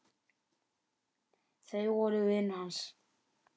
Þau voru vinir hans.